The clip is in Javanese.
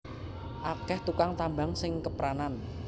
Akeh tukang tambang sing kepranan